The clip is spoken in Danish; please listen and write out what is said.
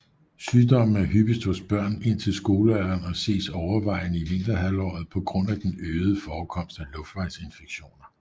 Sygdommen er hyppigst hos børn indtil skolealderen og ses overvejende i vinterhalvåret på grund af den øgede forekomst af luftvejsinfektioner